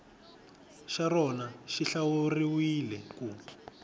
xa rona xi hlawuriwile ku